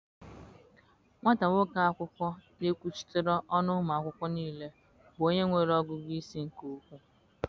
Nwata nwoke akwụkwọ na-ekwuchitara ọnụ ụmụ akwụkwọ niile bụ onye nwere ọgụgụ isi nke ukwuu.